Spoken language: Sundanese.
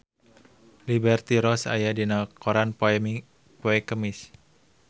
Liberty Ross aya dina koran poe Kemis